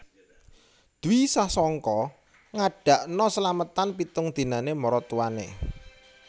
Dwi Sasongko ngadakno selametan pitung dinane maratuwane